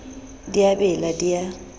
di a bela di a